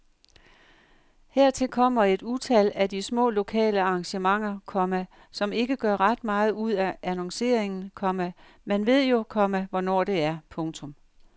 Hertil kommer et utal af de små lokale arrangementer, komma som ikke gør ret meget ud af annonceringen, komma man ved jo, komma hvornår det er. punktum